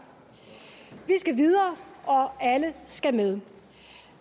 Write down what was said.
vi skal videre og alle skal med